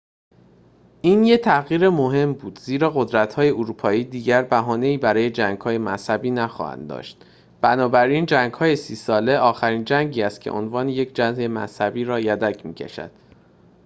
این یک تغییر مهم بود زیرا قدرت‌های اروپایی دیگر بهانه‌ای برای جنگ‌های مذهبی نخواهند داشت بنابراین جنگ‌های سی ساله آخرین جنگی است که عنوان یک جنگ مذهبی را یدک می‌کشد